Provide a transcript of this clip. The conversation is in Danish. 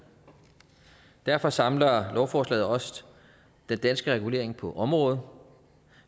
derfor samler lovforslaget også den danske regulering på området